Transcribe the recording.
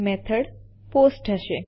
method method post હશે